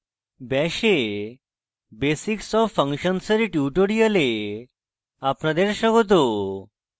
bash এ basics of functions dear tutorial আপনাদের স্বাগত